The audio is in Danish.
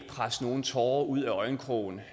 presse nogen tårer ud af øjenkrogen